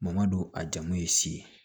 don a jago ye si ye